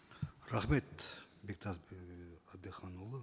рахмет бектас ііі әбдіханұлы